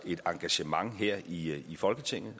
et engagement her i folketinget